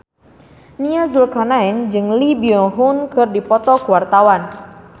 Nia Zulkarnaen jeung Lee Byung Hun keur dipoto ku wartawan